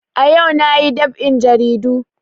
Ayau na yi dab'in jaridu